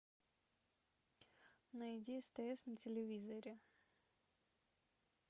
найди стс на телевизоре